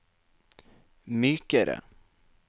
mykere